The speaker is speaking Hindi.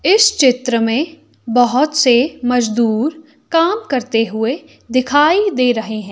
इस चित्र में बहोत से मजदूर काम करते हुए दिखाई दे रहे हैं।